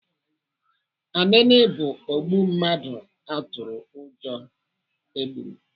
Anini bụ ogbu mmadụ atụrụ ụjọ e gburu.